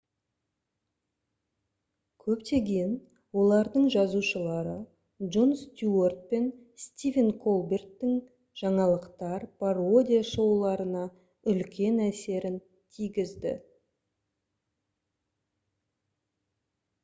көптеген олардың жазушылары джон стюарт пен стивен колберттің жаңалықтар пародия шоуларына үлкен әсерін тигізді